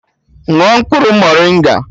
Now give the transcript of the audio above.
Ṅụọ mkpụrụ morịnga!